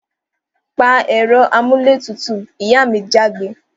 Pa èro amúlé tutù! Ìyá mi jágbe